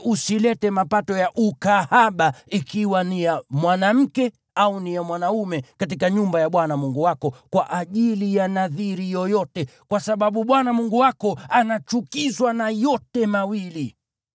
Kamwe usilete mapato ya ukahaba ikiwa ni ya mwanamke au ni ya mwanaume katika nyumba ya Bwana Mungu wako kwa ajili ya nadhiri yoyote, kwa sababu Bwana Mungu wako anachukizwa na yote mawili.